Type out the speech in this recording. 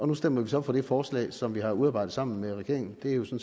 nu stemmer vi så for det forslag som vi har udarbejdet sammen med regeringen det er jo